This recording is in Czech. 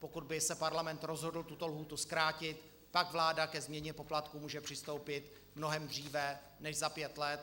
Pokud by se Parlament rozhodl tuto lhůtu zkrátit, tak vláda ke změně poplatků může přistoupit mnohem dříve než za pět let.